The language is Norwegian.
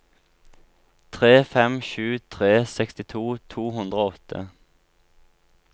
tre fem sju tre sekstito to hundre og åtte